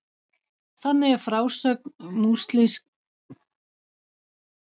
þannig er frásögn múslímskrar hefðar af tilurð kóransins